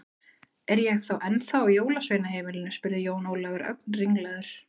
Er ég þá ennþá á jólasveinaheimilinu spurði Jón Ólafur, ögn ringlaður.